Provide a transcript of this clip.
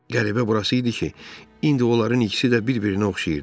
Qəribə burası idi ki, indi onların ikisi də bir-birinə oxşayırdı.